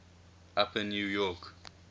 upper new york